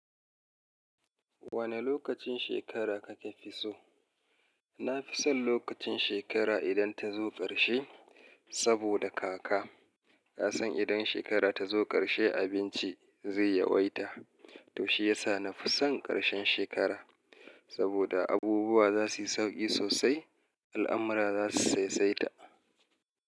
Wane lokacin shekara kake fi so? Na fi son lokacin shekara idan ta zo ƙarshe, saboda kaka. Na san idan shekara ta zo ƙarshe abinci zai yawaita. To shi yasa na fi son ƙarshen shekara. Saboda abubuwa za su yi sauƙi sosai, al'amura za su saisaita.